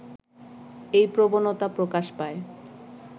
এই প্রবণতা প্রকাশ পায়